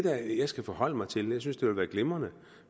jeg skal forholde mig til jeg synes det ville være glimrende